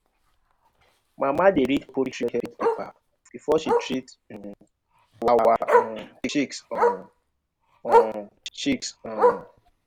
mama dey read poultry health paper before she treat um our um chicks. um um chicks. um